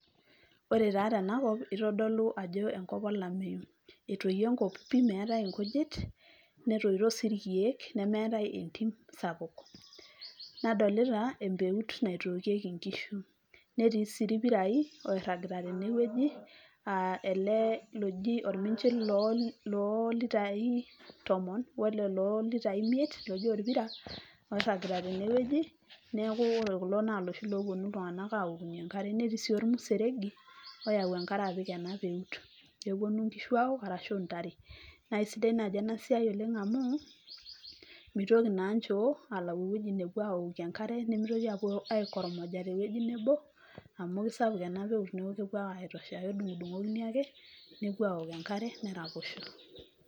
Ore taa tena kop itodolu ajo enkop olameyu , etoyieo enkop pi meetae inkujit, netoito sii irkieek , nemeetae entim sapuk. Nadolita empeut naitookieki inkishu, netii sii irpirai oiragita tene wueji aa ele loji orminchil loo litai tomon wele loo litai imiet , keji orpira oiragita tene wueji , niaku ore kulo naa iloshi loponu iltunganak aokunyie enkare. Netii sii ormuseregi oyau enkare apik ena peut , peponu inkishu aaok arashu intare. Naa isidai naaji ena siai amu mitoki naa nchoo alayu ewueji neokie enkare, nimitoki aikormoja tewueji nebo amu kitosha ena peut , kedungdungokini ake , nepuo aok enkare nepuo aok enkare neraposho.